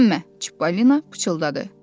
Hirslənmə, Çipollina pıçıldadı.